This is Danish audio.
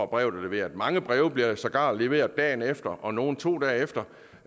brev er leveret mange breve bliver sågar leveret dagen efter og nogle to dage efter